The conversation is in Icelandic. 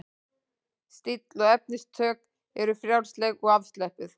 Stíll og efnistök eru frjálsleg og afslöppuð.